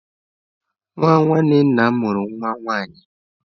Nwa nwanne nna m mụrụ nwa nwaanyị.